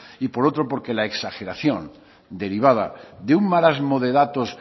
y por otro porque la exageración derivada de un marasmo de datos